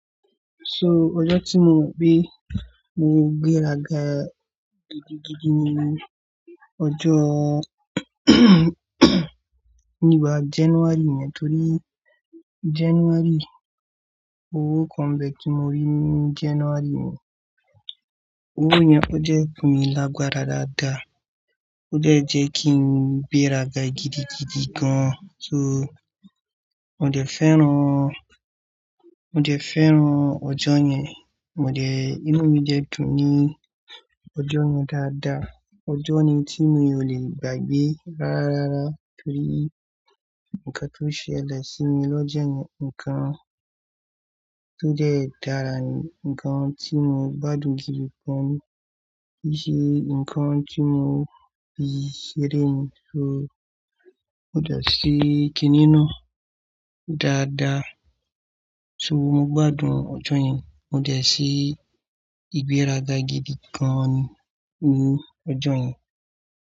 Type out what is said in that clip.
So ọjọ́ tí mo gbé, mo gbé ràgà gidigidi ni ọjọ́ ní boya bi January yẹn torí January owó kan n be tí mo rí ní January mi. Owó yẹn ó jẹ́ fún mi lágbára dáadáa. Ó dẹ̀ jẹ kí n gbé ràgà gidigidi gan. So mo dẹ̀ fẹ́ràn, mo dẹ̀ fẹ́ràn ọjọ́ yẹn, mo dẹ̀, inú mi dẹ́dùn ní ọjọ́ yẹn dáadáa. Ọjọ́ ni tí mo ò lè gbàgbé rárárára torí ǹkan tó ṣẹlẹ̀ sí mi lọ́jọ́ yẹn, ǹkan tó dẹ́ dára ni, ǹkan tí mo gbádùn jù lọ̀pọ̀, kí í ṣe ǹkan tí mo fi ṣeré ni. So mo dẹ̀ ṣe kìnnìún náà dáadáa. So mo gbádùn ọjọ́ yẹn, mo dẹ̀ ṣe ìgbéraga gidi gan ní ọjọ́ yẹn.